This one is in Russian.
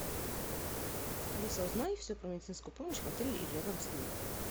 алиса узнай все про медицинскую помощь в отеле или рядом с ним